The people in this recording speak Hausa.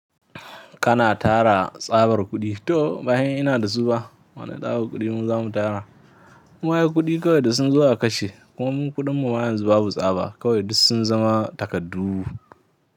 Kana tara tsabar kuɗi? To, bayan ina da su ba, wane tsabar kuɗi mu zamu tara. Wayar kuɗi kawai da sun zo a kashe. Kuma kuɗin mu yanzu babu tsaba, kawai duk sun zama takaddu.